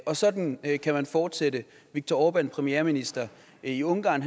og sådan kan man fortsætte viktor orbán premierminister i ungarn